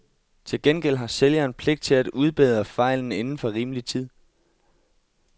Til gengæld har sælgeren pligt til at udbedre fejlen inden for rimelig tid.